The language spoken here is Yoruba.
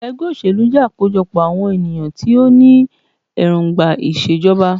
Ẹgbẹ́ òṣèlú jẹ́ àkójọpọ̀ àwọn ènìyàn tí o ní èròngbà ìṣèjọba.